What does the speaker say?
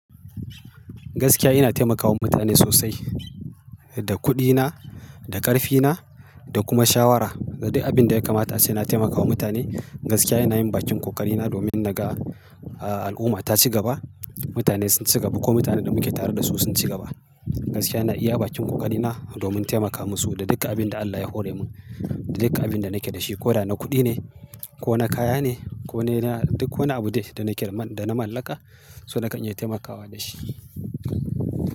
Gaskiya ina taimakawa mutane sosai da kuɗina, da ƙarfina da kuma shawara. Da duk abin da ya kamata sai na taimakawa mutane. Gaskiya ina yin bakin ƙoƙari na domin naga, ah, al'umma ta ci gaba, mutane sun ci gaba ko mutanen da muke tare da su sun ci gaba. Gaskiya na iya bakin ƙoƙari na domin taimaka musu da duka abin da Allah ya hore min, da duka abin da nake da shi. Ko da na kuɗi ne, ko na kaya ne, ko na, duk wani abu ne da nake man, da na mallaka, so nakan iya taimakawa dashi.